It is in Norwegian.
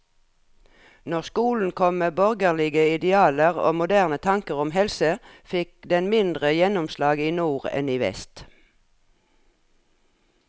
Når skolen kom med borgerlige idealer og moderne tanker om helse, fikk den mindre gjennomslag i nord enn i vest.